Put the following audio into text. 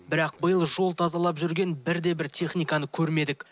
бірақ биыл жол тазалап жүрген бірде бір техниканы көрмедік